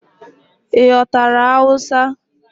Ị ghọtara Hausa?